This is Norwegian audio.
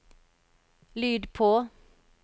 lyd på